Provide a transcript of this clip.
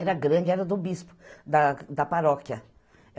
Era grande, era do bispo da da paróquia.